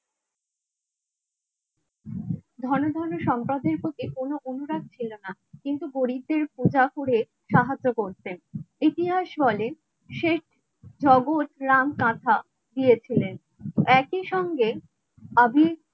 ঘন ঘন সম্পদের প্রতি কোনো অনুরাগ ছিল না কিন্তু সাহায্য করতেন ইতিহাস বলেন শেখ নগদ রাঙ কাঁথা দিয়েছিলেন একইসঙ্গে আমি